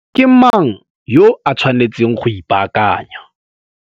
Ke mang yo a tshwanetseng go ipaakanya?